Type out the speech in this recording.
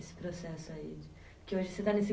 Esse processo aí? Que hoje você está nesse